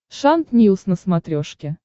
шант ньюс на смотрешке